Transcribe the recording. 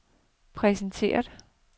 præsentere